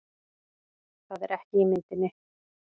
Það er ekki í myndinni